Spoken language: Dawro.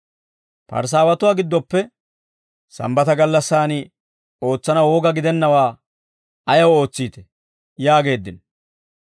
Parisaawatuwaa giddoppe, «Sambbata gallassaan ootsanaw woga gidennawaa ayaw ootsiitee?» yaageeddino.